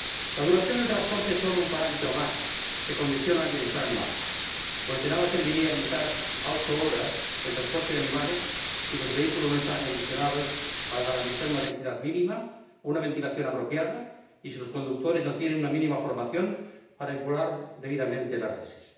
La duración del transporte es solo un parámetro más que condiciona el bienestar animal, pues de nada serviría limitar a ocho horas el transporte de animales si los vehículos no están acondicionados para garantizar una densidad mínima y una ventilación apropiada y si los conductores no tienen una mínima formación para manipular debidamente las reses.